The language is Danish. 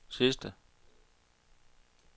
sidste